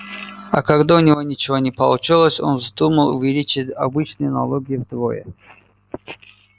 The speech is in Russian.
а когда у него ничего не получилось он вздумал увеличить обычные налоги вдвое